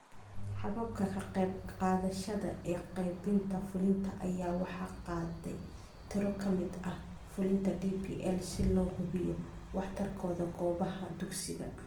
Hababka ka qaybqaadashada ee qaabaynta fulinta ayaa waxaa qaatay tiro ka mid ah fulinta DPL si loo hubiyo waxtarkooda goobaha dugsiga.